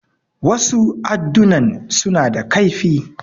Wasu addunan suna da kaifi.